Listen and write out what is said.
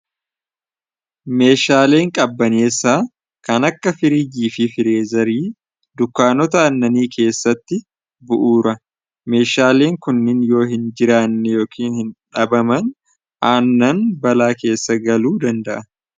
Meeshaaleen qabbaneessaa kan akka firiijiifi fireezarii dunkaanota Aannanii keessatti bu'uura. Meeshaaleen kunnin yoohinjiraanne yookiin dhabaman aannan balaa keessa galuu danda'a.